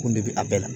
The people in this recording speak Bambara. Ko ne bɛ a bɛɛ la